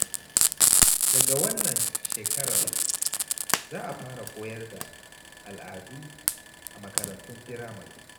Daga wannan shekarar, za a fara koyar da al’adu a makarantun firamare.